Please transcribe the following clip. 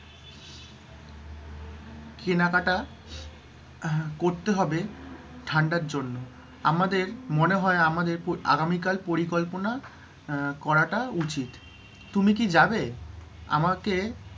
কেনাকাটা আহ করতে হবে ঠান্ডার জন্য, আমাদের, মনে হয় আমাদের আগামীকাল পরিকল্পনা করাটা উচিৎ। তুমি কি যাবে? আমাকে,